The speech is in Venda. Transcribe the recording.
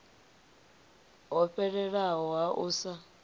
ho fhelelaho ha u sa